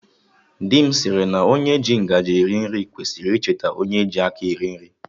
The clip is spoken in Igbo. Dị m sịrị na onye ji ngaji eri nri kwesịrị icheta onye ji aka eri nri